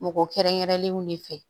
Mɔgɔ kɛrɛnkɛrɛnlenw ne fɛ